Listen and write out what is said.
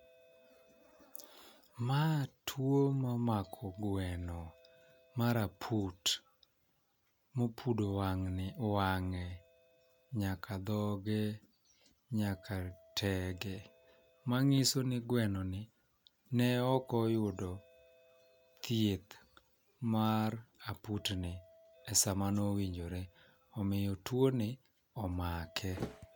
Ma tuo momako gweno mar aput mokwodo wang'ni wang'e nyaka dhoge nyaka tege mang'iso ni gweno ni ne ok oyudo thieth mar aput ni e sama nowinjore omiyo tuo ni omake.